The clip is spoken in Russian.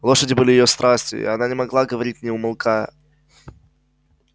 лошади были её страстью и о них она могла говорить не умолкая